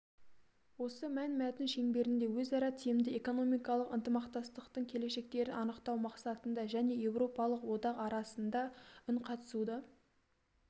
осы мәнмәтін шеңберінде өзара тиімді экономикалық ынтымақтастықтың келешектерін анықтау мақсатында және еуропалық одақ арасындағы үнқатысуды